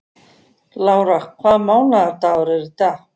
Lára, hvaða mánaðardagur er í dag?